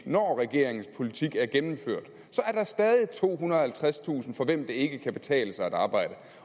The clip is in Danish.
når regeringens politik er gennemført så er der stadig tohundrede og halvtredstusind for hvem det ikke kan betale sig at arbejde